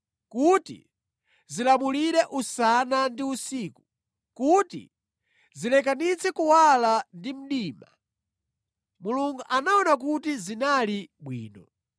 kuti zilamulire usana ndi usiku, ndi kuti zilekanitse kuwala ndi mdima. Mulungu anaona kuti zinali bwino.